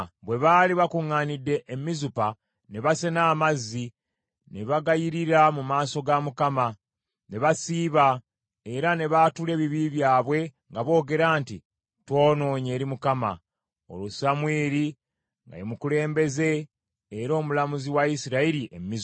Bwe baali bakuŋŋaanidde e Mizupa, ne basena amazzi, ne bagayirira mu maaso ga Mukama , ne basiiba era ne baatula ebibi byabwe nga boogera nti, “Twonoonye eri Mukama .” Olwo Samwiri nga ye mukulembeze era omulamuzi wa Isirayiri e Mizupa.